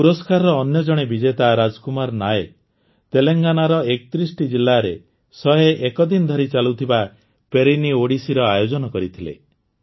ଏହି ପୁରସ୍କାରର ଅନ୍ୟ ଜଣେ ବିଜେତା ରାଜକୁମାର ନାୟକ ତେଲେଙ୍ଗାନାର ୩୧ଟି ଜିଲ୍ଲାରେ ୧୦୧ ଦିନ ଧରି ଚାଲୁଥିବା ପେରିନି ଓଡିସିର ଆୟୋଜନ କରିଥିଲେ